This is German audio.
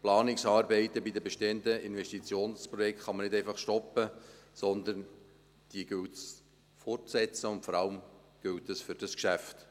Die Planungsarbeiten bei den bestehenden Investitionsprojekten kann man nicht einfach stoppen, sondern es gilt, sie fortzusetzen, und vor allem gilt dies für dieses Geschäft.